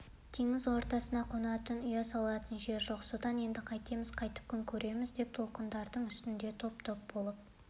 теңіз ортасында қонатын ұя салатын жер жоқ содан енді қайтеміз қайтіп күн көреміз деп толқындардың үстінде топ-топ болып